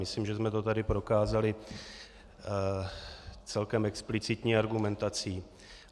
Myslím, že jsem to tady prokázali celkem explicitní argumentací.